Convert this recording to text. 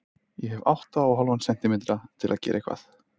Ég hef átta og hálfan sentímetra til að gera eitthvað.